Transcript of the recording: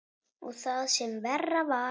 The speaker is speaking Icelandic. Og það sem verra var.